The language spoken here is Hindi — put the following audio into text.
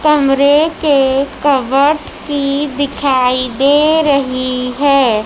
कमरे के कावट की दिखाई दे रही है।